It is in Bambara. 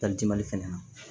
fɛnɛ na